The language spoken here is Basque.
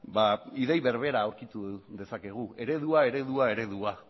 ideia berbera aurkitu dezakegu eredua